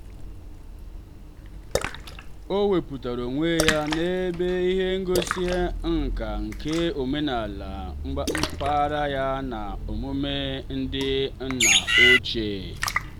o wepụtara onwe ya n'ebe ihe ngosi nka nke omenala mpaghara ya na omume ndị nna ochie.